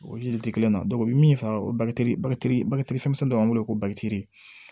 O ji tɛ kelen na i bɛ min fa o barikali bali fɛn dɔ b'an wele ko bakitɛri